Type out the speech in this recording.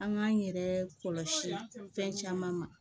An k'an yɛrɛ kɔlɔsi fɛn caman ma